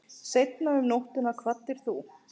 Seinna um nóttina kvaddir þú.